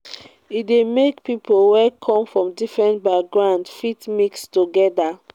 e de make pipo wey come from different backgroungs fit mix together